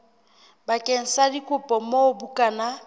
bakeng sa dikopo moo bukana